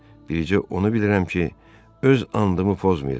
Bircə onu bilirəm ki, öz andımı pozmayacam.